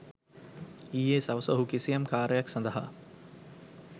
ඊයේ සවස ඔහු කිසියම් කාර්යයක් සඳහා